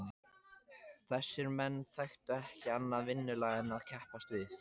Þessir menn þekktu ekki annað vinnulag en að keppast við.